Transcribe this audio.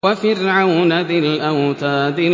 وَفِرْعَوْنَ ذِي الْأَوْتَادِ